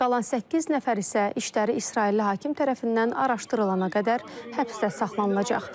Qalan səkkiz nəfər isə işləri İsrailli hakim tərəfindən araşdırılana qədər həbsdə saxlanılacaq.